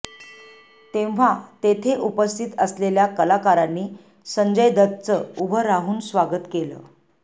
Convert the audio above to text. तेव्हा तेथे उपस्थित असलेल्या कलाकारांनी संजय दत्तचं उभं राहून स्वागत केलं